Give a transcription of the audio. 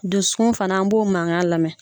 Dusu fanaan b'o mankan lamɛn.